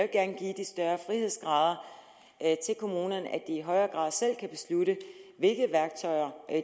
gerne give de større frihedsgrader til kommunerne at i de højere grad selv kan beslutte hvilke værktøjer